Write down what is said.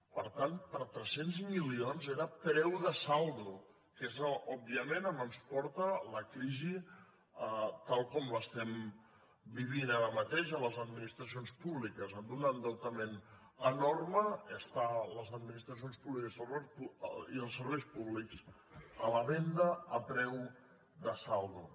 per tant per tres cents milions era preu de saldo que és òbviament on ens porta la crisi tal com l’estem vivint ara mateix a les administracions públiques amb un endeutament enorme estan les administracions públiques i els serveis públics a la venda a preu de saldo